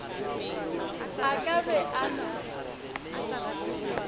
a ka be a na